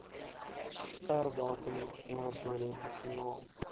sperdatum emmertoilette finaal